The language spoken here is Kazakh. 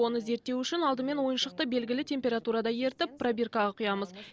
оны зерттеу үшін алдымен ойыншықты белгілі температурада ерітіп пробиркаға құямыз